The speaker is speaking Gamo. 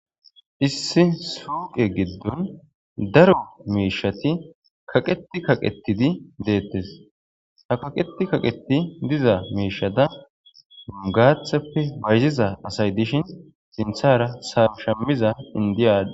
issi suuqe giddon daro meeshati kaqeti kaqetidi deettes ha kaqeti kaqeti diza meeshada gaathappe bayziza asay dishin sinthara sashamiza indiyada